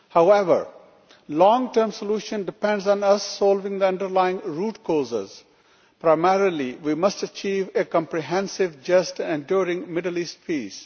However, a long term solution depends on us solving the underlying root causes. Primarily, we must achieve a comprehensive, just and enduring Middle East peace.